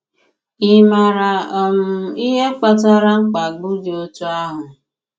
Ị maara um ihe kpatara mkpagbu dị otú ahụ?